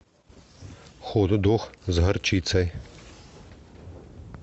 хот дог с горчицей